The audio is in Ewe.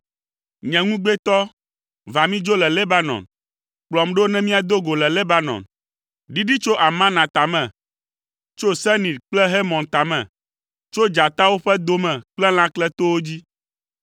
Nye ŋugbetɔ, va mídzo le Lebanon, kplɔm ɖo ne míado go le Lebanon. Ɖiɖi tso Amana tame, tso Senir kple Hermon tame, tso dzatawo ƒe do me kple lãkletowo dzi.